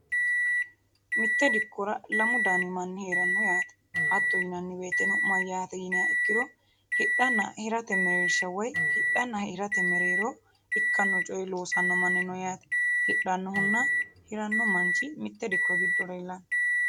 mitte dikkora lamu daani manni heranno yaate hatto yinanni beetteno mayyaate yiniha ikkiro hidhanna hirate mereersha woy hidhanna hirate mereeroo ikkanno coyi loosanno manni no yaate hidhannohunna hiranno manchi mitte dikko giddo lellanno